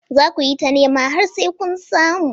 Za ku yi ta nema har sai kun samu.